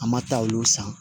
An ma taa olu san